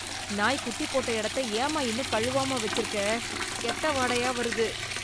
நாய் குட்டிப் போட்ட எடத்த ஏம்மா இன்னும் கழுவாம வெச்சிருக்க, கெட்ட வாடையா வருது.